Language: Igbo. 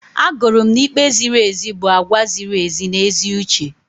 Agụrụ m na ikpe ziri ezi bụ àgwà ziri ezi na ezi uche.